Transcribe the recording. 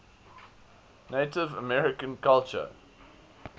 native american culture